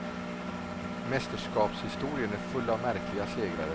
Mästerskapshistorien är full av märkliga segrare.